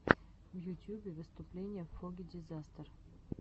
в ютюбе выступление фогги дизастер